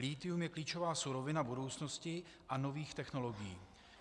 Lithium je klíčová surovina budoucnosti a nových technologií.